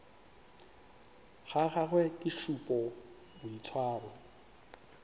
ga gagwe ke šupa boitshwaro